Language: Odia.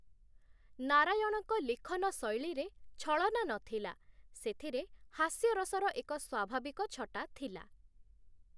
ନାରାୟଣଙ୍କ ଲିଖନ ଶୈଳୀରେ ଛଳନା ନଥିଲା, ସେଥିରେ ହାସ୍ୟରସର ଏକ ସ୍ୱାଭାବିକ ଛଟା ଥିଲା ।